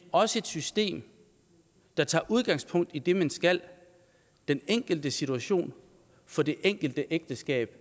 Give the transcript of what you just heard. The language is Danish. også et system der tager udgangspunkt i det man skal den enkelte situation for det enkelte ægteskab